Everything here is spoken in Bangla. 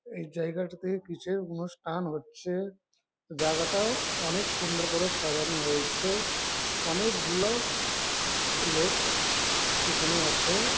এই জায়গাটাতে কিসের অনুষ্ঠান হচ্ছে জায়গাটাও অনেক সুন্দর করে সাজানো হয়েছে অনেক গুলো লোক এখানে আছে।